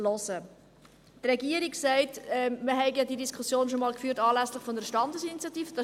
Die Regierung sagt, dass wir diese Diskussion schon einmal anlässlich der Standesinitiative geführt hätten.